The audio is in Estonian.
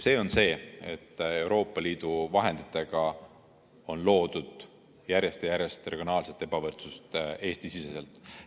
See on see, et Euroopa Liidu vahenditega on loodud järjest ja järjest regionaalset ebavõrdsust Eesti-siseselt.